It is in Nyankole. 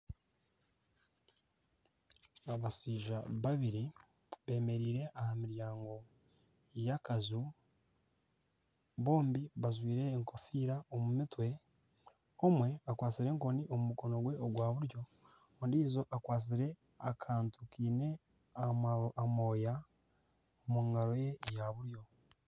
Abashaija babiri beemereire aha miryango y'akaju bombi bajwire enkofiira omu mutwe omwe akwatsire enkoni omu mukono gwe gwa buryo ondiijo akwatsire akantu kaine amooya omu ngaro ye ya buryo